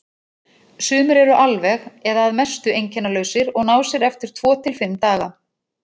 Sumir eru alveg eða að mestu einkennalausir og ná sér eftir tvo til fimm daga.